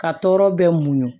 Ka tɔɔrɔ bɛɛ munɲu